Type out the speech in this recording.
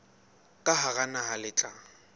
ka hara naha le tla